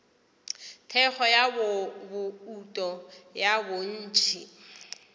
thekgo ya bouto ya bontši